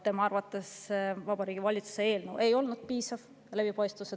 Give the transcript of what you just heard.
Tema arvates ei ole Vabariigi Valitsuse eelnõu piisav, et tagada läbipaistvus.